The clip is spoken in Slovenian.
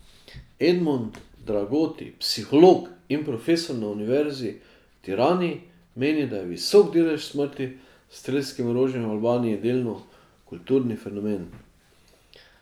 Edmond Dragoti, psiholog in profesor na Univerzi v Tirani, meni, da je visok delež smrti s strelskim orožjem v Albaniji delno kulturni fenomen.